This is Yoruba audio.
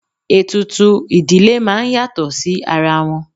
Ètùtù ìdílé máa ń yàtọ̀ sí ara wọn.